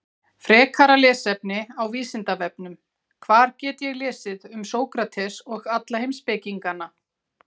Frekara lesefni á Vísindavefnum: Hvar get ég lesið um Sókrates og alla heimspekingana?